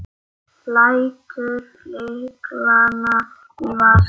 Lætur lyklana í vasann.